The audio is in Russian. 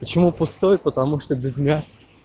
почему пустой потому что без мяса